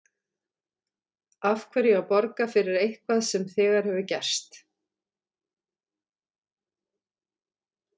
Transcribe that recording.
Af hverju að borga fyrir eitthvað sem þegar hefur gerst?